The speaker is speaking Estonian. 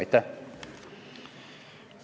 Aitäh!